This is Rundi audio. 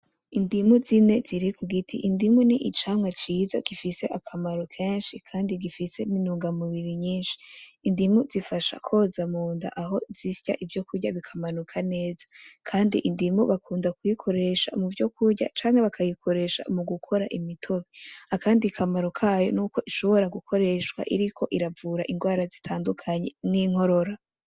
Indimu zine ziri k'ugiti. Indimu ni icamwa ciza gifise akamaro kenshi kandi gifise n'intungamubiri nyinshi. Indimu zifasha koza munda aho zisya ivyo kurya bikamanuka neza. Kandi indimu bakunda kuyikoresha m'uvyo kurya, canke bakayikoresha mu gukora imitobe. Akindi kamaro kayo n'uko ishobora gukoreshwa iriko iravura indwara zitandukanye nk'inkorora.